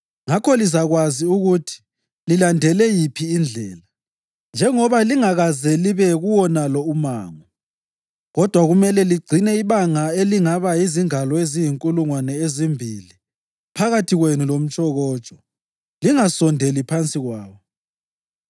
Ngakho lizakwazi ukuthi lilandele yiphi indlela, njengoba lingakaze libe kuwonalo umango. Kodwa kumele ligcine ibanga elingaba yizingalo eziyinkulungwane ezimbili phakathi kwenu lomtshokotsho; lingasondeli phansi kwalo.”